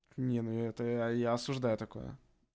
не ну это я я осуждаю такое